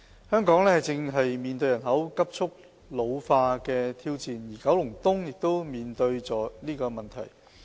香港正面對人口急速老化的挑戰，而九龍東亦面對這個問題。